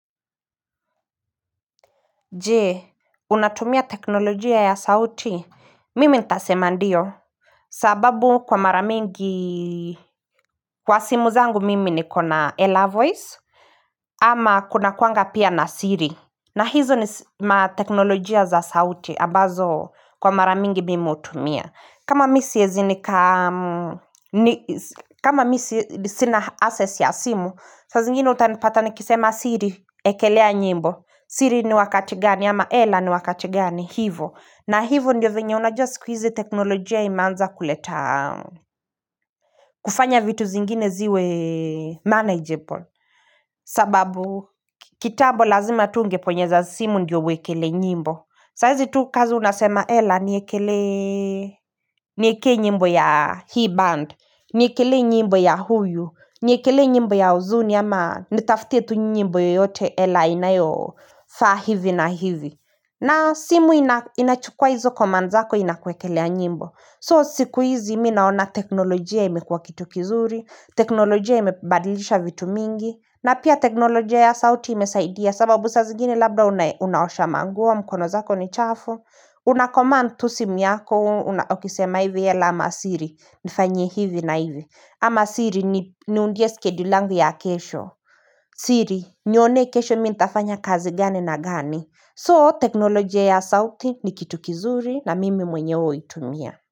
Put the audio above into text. Je, unatumia teknolojia ya sauti? Mimi nitasema ndiyo. Sababu kwa mara mingi, kwa simu zangu mimi niko na Ela Voice, ama kuna kuaga pia na siri. Na hizo ni mateknolojia za sauti, ambazo kwa mara mingi mimi hutumia. Kama mimi siwezi nika, kama mimi sina access ya simu, saa zingine utanipata nikisema siri ekelea nyimbo. Siri ni wakati gani ama Ela ni wakati gani hivyo. Na hivyo ndiyo vyenye unajua siku hizi teknolojia imeanza kuleta kufanya vitu zingine ziwe manageable. Sababu kitabu lazima tu ungeponyeza simu ndiyo uwekelee nyimbo. Saa hizi tu kazi unasema Ela niekelee niekelee nyimbo ya hii band, niekelee nyimbo ya huyu, niekelee nyimbo ya uzuni ama nitafutie tu nyimbo yoyote Ela inayo faa hivi na hivi. Na simu inachukua hizo command zako inakwekelea nyimbo. So siku hizi minaona teknolojia imekuwa kitu kizuri, teknolojia imebadilisha vitu mingi na pia teknolojia ya sauti imesaidia sababu saa zingine labda unaosha manguo mkono zako ni chafu. Una command to simu yako unakisema hivi Ela ama siri nifanyiye hivi na hivi ama siri niundie schedule langu ya kesho. Siri nioneye kesho mimi nitafanya kazi gani na gani. So teknolojia ya sauti ni kitu kizuri na mimi mwenyewe huitumia.